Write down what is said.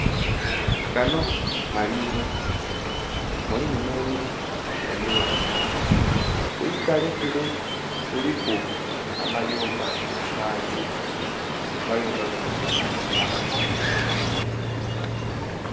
Ganho malimiro mulimu nhe miti emighanvu kwitale kule kuliku amayumba mangi amayumba ganho maka ga bantu.